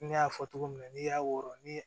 Ne y'a fɔ cogo min na n'i y'a wɔrɔ ni